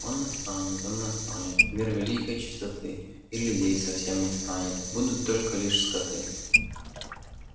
он настанет он настанет мир великой чистоты и людей совсем не станет будут только лишь скоты